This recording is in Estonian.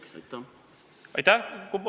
Kas sellest on komisjonis juttu olnud?